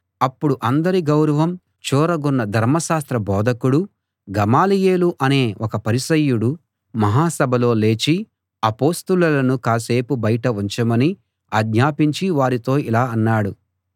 అప్పుడు అందరి గౌరవం చూరగొన్న ధర్మశాస్త్ర బోధకుడు గమలీయేలు అనే ఒక పరిసయ్యుడు మహాసభలో లేచి అపొస్తలులను కాసేపు బయట ఉంచమని ఆజ్ఞాపించి వారితో ఇలా అన్నాడు